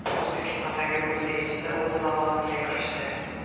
O‘zbekistondagi Gruziya elchisi o‘z lavozimiga kirishdi.